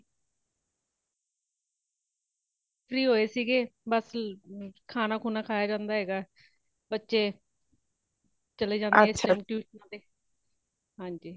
free ਹੋਏ ਸੀਗੇ ਬੱਸ ,ਖਾਣਾ-ਖੁਨਾ ਖਾਯਾ ਜਾਂਦਾ ਹੇਗਾ ,ਬੱਚੇ ਚੱਲੇ ਜਾਂਦੈ ਨੇ , tuition ਤੇ ਹਾਂਜੀ